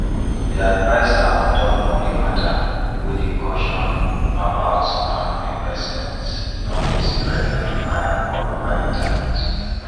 di adviser on top money matter wey dey caution about scam investments don dey spread like fire all over internet